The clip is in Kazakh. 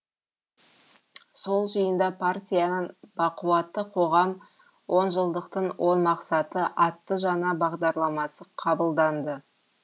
сол жиында партияның бақуатты қоғам онжылдықтың он мақсаты атты жаңа бағдарламасы қабылданды